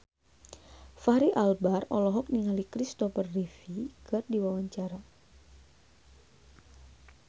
Fachri Albar olohok ningali Kristopher Reeve keur diwawancara